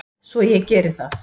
Svo ég geri það.